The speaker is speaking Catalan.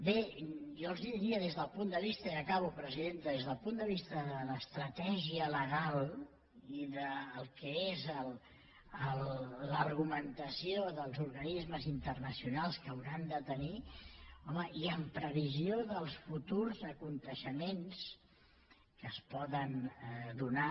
bé jo els diria i acabo presidenta des del punt de vista de l’estratègia legal i del que és l’argumentació dels organismes internacionals que hauran de tenir i en previsió dels futurs esdeveniments que es poden donar